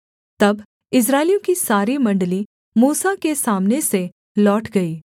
तब इस्राएलियों की सारी मण्डली मूसा के सामने से लौट गई